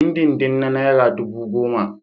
Dindindin na naira dubu goma